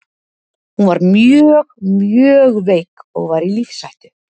Hún var mjög mjög veik og var í lífshættu.